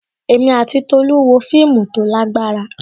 Èmi àti Tolu wo fíìmù tó lágbára.